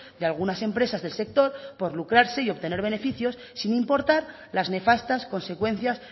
de algunas empresas del sector por lucrarse y obtener beneficios sin importar las nefastas consecuencias